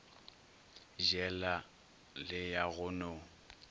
jela le ya go no